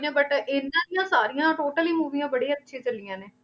but ਇਹਨਾਂ ਦੀਆਂ ਸਾਰੀਆਂ totally ਮੂਵੀਆਂ ਬੜੀ ਅੱਛੀ ਚੱਲੀਆਂ ਨੇ।